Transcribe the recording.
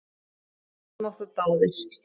Við misstum okkur báðir.